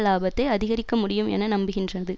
லாபத்தை அதிகரிக்க முடியும் என நம்புகின்றது